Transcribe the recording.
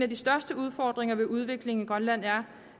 de største udfordringer ved udviklingen i grønland er